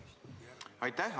Aitäh!